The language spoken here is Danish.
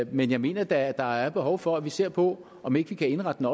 men jeg mener da at der er et behov for at vi ser på om vi ikke kan indrette den